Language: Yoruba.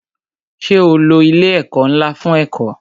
Ṣé o lo ilé ẹ̀kọ́ ńlá fún ẹ̀kọ́?